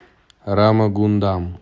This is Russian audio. рамагундам